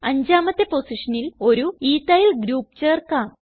അഞ്ചാമത്തെ പൊസിഷനിൽ ഒരു എത്തിൽ ഗ്രൂപ്പ് ചേർക്കാം